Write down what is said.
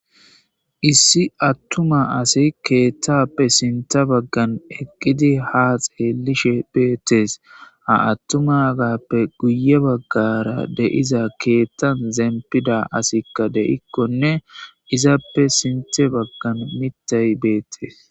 issi attuma asi keettappe sinta baggan eqqidi ha xeellishe beettees a attuma gappe guye baggara deiza keettan zempida asikka de7ikkonne izappe sinte baggan mittay beettes